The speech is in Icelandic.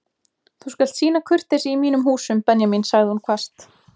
Þú skalt sýna kurteisi í mínum húsum Benjamín sagði hún hvasst.